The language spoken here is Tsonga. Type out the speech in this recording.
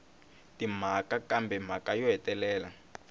timhaka kambe mhaka yo hetelela